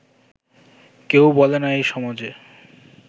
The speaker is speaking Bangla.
কেউ বলে না এ সমাজে